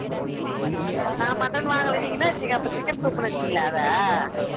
நான் mutton வாங்கலை நீங்க என்ன நினைச்சீங்க அப்ப chicken soup ன்னு நினைச்சீங்களா அதை